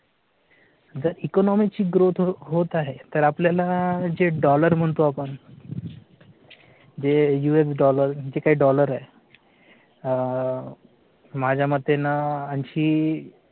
तर economic ची growth होत आहे तर आपल्या जे डॉलर म्हणतो आपण. जे US डॉलर जे काही डॉलर आहेत अं माझ्या मते ना जी